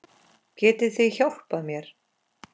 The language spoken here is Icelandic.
Getið þið hjálpað mér?